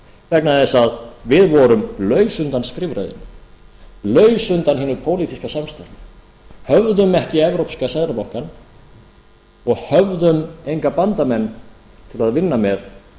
vegna þess að við vorum laus undan skrifræðinu laus undan hinu pólitíska samstarfi höfðum ekki evrópska seðlabankann og höfðum enga bandamenn til að vinna með